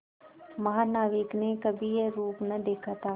महानाविक ने कभी यह रूप न देखा था